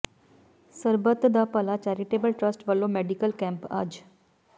ਸਰਬੱਤ da Bhala charitable trust ਵਲੋਂ medical camp ਅੱਜ